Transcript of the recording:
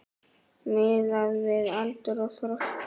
Miðað við aldur og þroska.